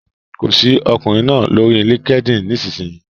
Kọ sí ọkùnrin náà lórí LinkedIn nísinsìnyí!